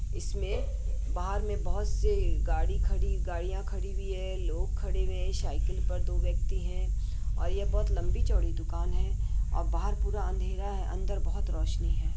इसमें बाहर में बहुत-सी गाड़ी खड़ी गाड़ियां खड़ी हुई है लोग खड़े हुए हैं साइकिल पर दो व्यक्ति हैं। और यह बहोत लम्बी-चौड़ी दूकान है और बाहर पूरा अँधेरा है अंदर बहोत रौशनी है।